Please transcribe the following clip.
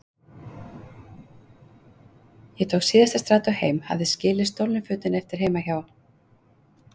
Ég tók síðasta strætó heim, hafði skilið stolnu fötin eftir heima hjá